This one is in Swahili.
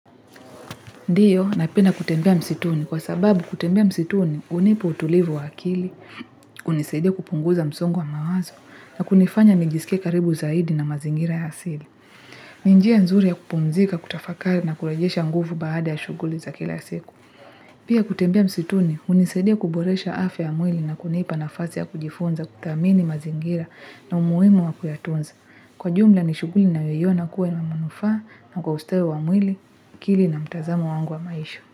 Ndio napenda kutembea msituni kwa sababu kutembea msituni hunipa utulivu wa akili, hunisaidia kupunguza msongo wa mawazo na kunifanya nijisike karibu zaidi na mazingira ya asili. Ni njia nzuri ya kupumzika kutafakari na kurejesha nguvu baada ya shughuli za kila siku. Pia kutembea msituni hunisaidia kuboresha afya ya mwili na kunipa nafasi ya kujifunza kudhamini mazingira na umuhimu wa kuyatunza. Kwa jumla ni shughuli ninayoiona kuwa na manufaa na kwa usteo wa mwili, akili na mtazamo wangu wa maisha.